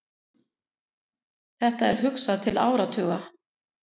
Þetta er hugsað til áratuga.